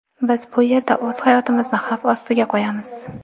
Biz bu yerda o‘z hayotimizni xavf ostiga qo‘yamiz.